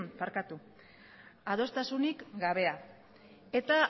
adostasunik gabea eta